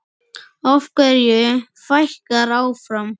Af hverju fækkar áfram?